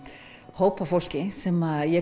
hóp af fólki sem ég